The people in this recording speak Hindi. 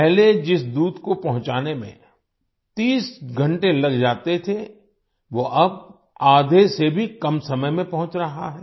पहले जिस दूध को पहुँचाने में 30 घंटे लग जाते थे वो अब आधे से भी कम समय में पहुँच रहा हैं